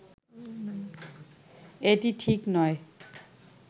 এটি ঠিক নয়